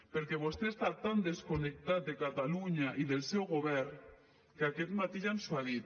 perquè vostè està tan desconnectat de catalunya i del seu govern que aquest matí ja ens ho ha dit